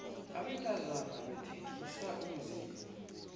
abantazana bathengisa umzimba